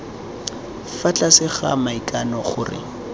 fa tlase ga maikano gore